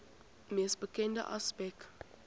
mees bekende aspek